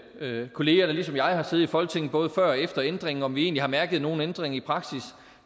kolleger der ligesom jeg har siddet i folketinget både før og efter ændringen om vi egentlig har mærket nogen ændring i praksis